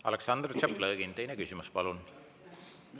Aleksandr Tšaplõgin, teine küsimus, palun!